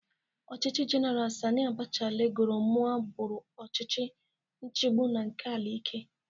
Ọchịchị Jeneral Sani Abacha lagoro mụọ bụrụ ọchịchị nchigbụ na nke aka ike.